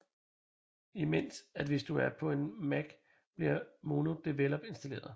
Imens at hvis du er på en Mac bliver MonoDevelop installeret